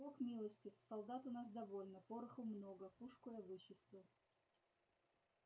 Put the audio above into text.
бог милостив солдат у нас довольно пороху много пушку я вычистил